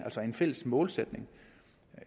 altså en fælles målsætning